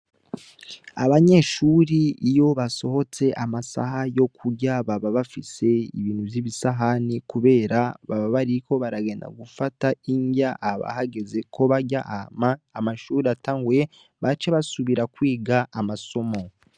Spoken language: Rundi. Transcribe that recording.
Abanyeshuri iyo basohotse amasaha yo kurya baba bafise ibintu vy'ibisahani, kubera baba bariko baragenda gufata indya aba hageze ko barya ama amashuri atanguye bace basubira kwiga amasomo.